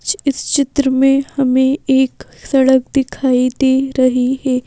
इस चित्र में हमें एक सड़क दिखाई दे रही है।